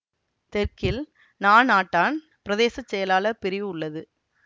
தெற்கில் நானாட்டான் பிரதேச செயலாளர் பிரிவு உள்ளது